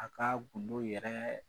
A ka gindo yɛrɛ